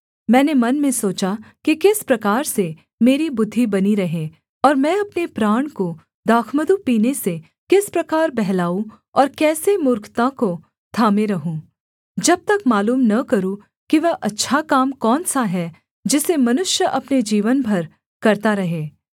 मैंने मन में सोचा कि किस प्रकार से मेरी बुद्धि बनी रहे और मैं अपने प्राण को दाखमधु पीने से किस प्रकार बहलाऊँ और कैसे मूर्खता को थामे रहूँ जब तक मालूम न करूँ कि वह अच्छा काम कौन सा है जिसे मनुष्य अपने जीवन भर करता रहे